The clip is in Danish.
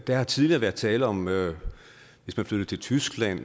der har tidligere været tale om at hvis man flyttede til tyskland